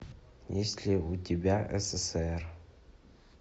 есть ли у тебя ссср